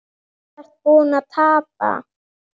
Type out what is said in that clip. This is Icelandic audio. Þú ert búinn að tapa